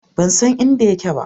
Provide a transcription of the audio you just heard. Ban san inda yake ba.